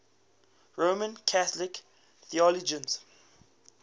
roman catholic theologians